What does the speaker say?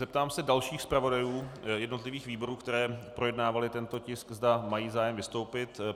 Zeptám se dalších zpravodajů jednotlivých výborů, které projednávaly tento tisk, zda mají zájem vystoupit.